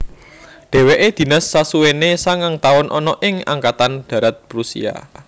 Dheweke dinas sasuwene sangang taun ana ing Angkatan Darat Prusia